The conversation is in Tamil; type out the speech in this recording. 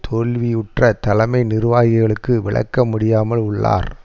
தோல்வியுற்ற தலைமை நிர்வாகிகளுக்கு விளக்க முடியாமல் உள்ளார்